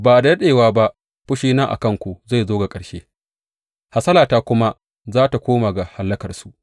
Ba da daɗewa ba fushina a kanku zai zo ga ƙarshe hasalata kuma za tă koma ga hallakarsu.